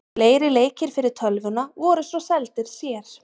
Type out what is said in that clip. Fleiri leikir fyrir tölvuna voru svo seldir sér.